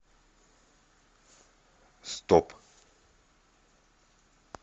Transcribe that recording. стоп